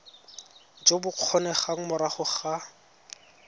jo bo kgonegang morago ga